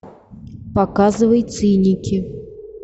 показывай циники